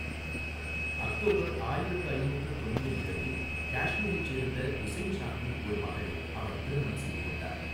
October ஆயிரத்து ஐநூற்று தொண்ணூறு இரண்டில் காஷ்மீரைச் சேர்ந்த உசைன் சாக்கின் ஒரு மகளை அவர் திருமணம் செய்து கொண்டார்.